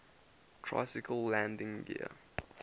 tricycle landing gear